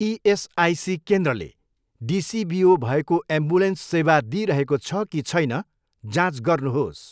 ESIC केन्द्रले डिसिबिओ भएको एम्बुलेन्स सेवा दिइरहेको छ कि छैन जाँच गर्नुहोस्।